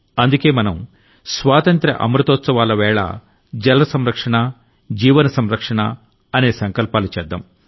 అందుకే మనం స్వాతంత్ర్య అమృతోత్సవాల వేళ జల సంరక్షణ జీవన సంరక్షణ అనే సంకల్పాలు చేద్దాం